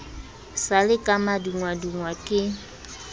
sa le ka madungwadungwa ke